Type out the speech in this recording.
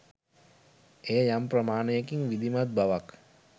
එය යම් ප්‍රමාණයකින් විධිමත් බවක්